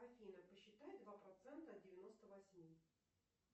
афина посчитай два процента от девяносто восьми